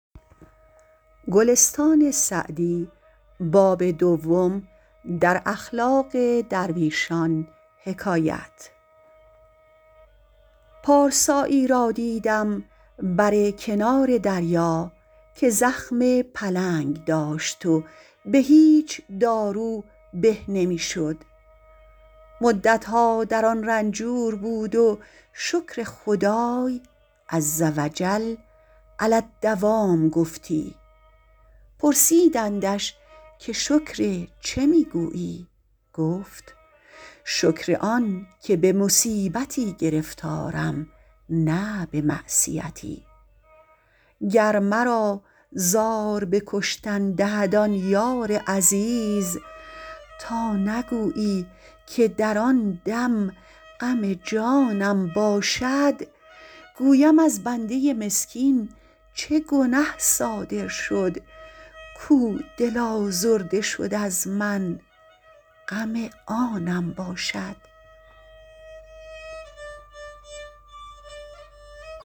پارسایی را دیدم بر کنار دریا که زخم پلنگ داشت و به هیچ دارو به نمی شد مدتها در آن رنجور بود و شکر خدای عزوجل علی الدوام گفتی پرسیدندش که شکر چه می گویی گفت شکر آن که به مصیبتی گرفتارم نه به معصیتی گر مرا زار به کشتن دهد آن یار عزیز تا نگویی که در آن دم غم جانم باشد گویم از بنده مسکین چه گنه صادر شد کاو دل آزرده شد از من غم آنم باشد